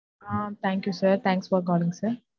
Ah thank you sir thanks for calling sir.